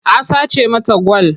A sace mata gwal.